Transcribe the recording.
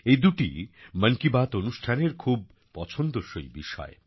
এ দুটি মন কি বাত অনুষ্ঠানের খুব পছন্দসই বিষয়